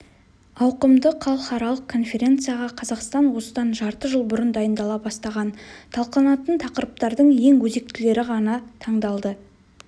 ауқымды халықаралық конференцияға қазақстан осыдан жарты жыл бұрын дайындала бастаған талқыланатын тақырыптардың ең өзектілері ғана таңдалды